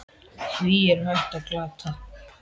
Því er hægt að glata!